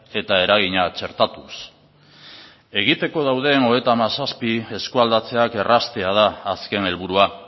eta eragina txertatuz egiteko dauden hogeita hamazazpi eskualdatzeak erraztea da azken helburua